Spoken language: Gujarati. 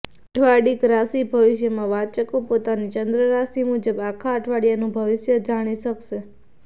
અઠવાડિક રાશિ ભવિષ્યમાં વાંચકો પોતાની ચંદ્ર રાશિ મુજબ આખા અઠવાડિયાનું ભવિષ્ય જાણી શકશે